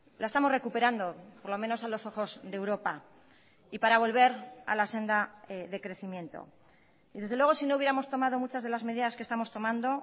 la estamos recuperando por lo menos a los ojos de europa y para volver a la senda de crecimiento y desde luego si no hubiéramos tomado muchas de las medidas que estamos tomando